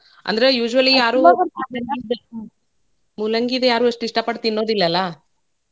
ಅಂದ್ರ usually ಯಾರೂ noise ಮೂಲಂಗಿದು ಯಾರೂ ಅಷ್ಟ್ ಇಷ್ಚ ಪಟ್ ತಿನ್ನೋದಿಲ್ ಅಲ್ಲಾ.